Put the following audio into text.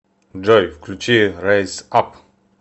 джой включи райз ап